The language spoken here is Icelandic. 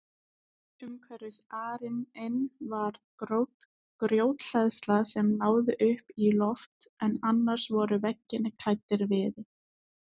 Umhverfis arininn var grjóthleðsla sem náði upp í loft en annars voru veggirnir klæddir viði.